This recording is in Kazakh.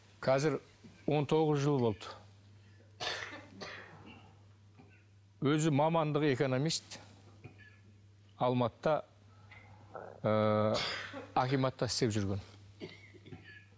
қазір он тоғыз жыл болды өзі мамандығы экономист алматыда ыыы акиматта істеп жүрген